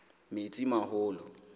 metsimaholo